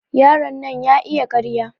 Yaron nan ya iya ƙarya.